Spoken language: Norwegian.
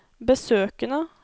besøkene